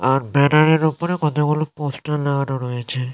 আ- banner -এর উপরে কতগুলো পোস্টার লাগানো রয়েছে--